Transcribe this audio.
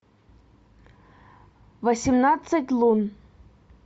восемнадцать лун